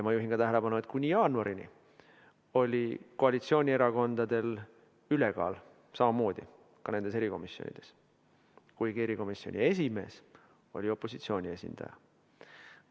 Ma juhin veel tähelepanu sellele, et kuni jaanuarini oli koalitsioonierakondadel samamoodi ülekaal ka erikomisjonides, kuigi erikomisjoni esimees oli opositsiooni esindaja.